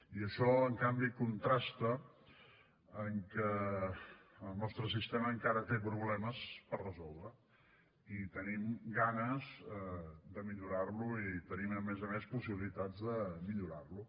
i això en canvi contrasta amb que en el nostre sistema encara té problemes per resoldre i tenim ganes de millorar lo i tenim a més a més possibilitats de millorar lo